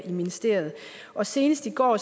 ministeriet og senest i går